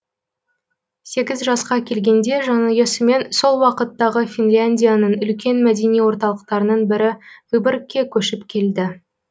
сегіз жасқа келгенде жанұясымен сол уақыттағы финляндияның үлкен мәдени орталықтарының бірі выбогргке көшіп келді